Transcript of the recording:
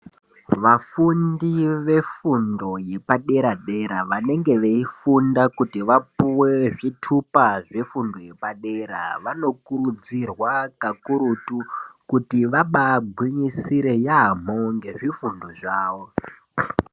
Vafundi vefundo yedera dera vanenge veifunda kuti vapuwe zvitupa zvefundo yepadera vanokurudzirwa kakurutu kuti vabagwinyisire yambo nezvifundo zvavo.